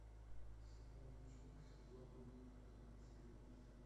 сериал девчонки сезон один последний эпизод